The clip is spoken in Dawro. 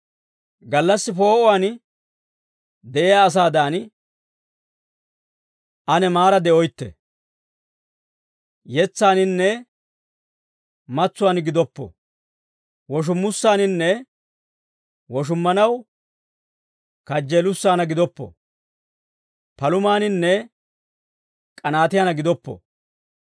gallassi poo'uwaan de'iyaa asaadan, ane maara de'oytte. Yetsaaninne matsuwaan gidoppo; woshummussaaninne woshummanaw kajjeelussaana gidoppo; palumaaninne k'anaatiyaan gidoppo.